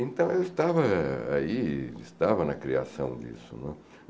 Então, eu estava aí, estava na criação disso, né.